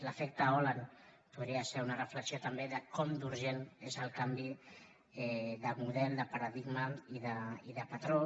l’efecte hollande podria ser una reflexió també de com d’urgent és el canvi de mo·del de paradigma i de patró